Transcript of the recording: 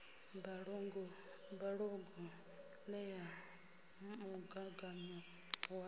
mbalogu ṱe ya mugaganyo wa